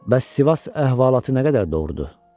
Bəs Sivas əhvalatı nə qədər doğrudur?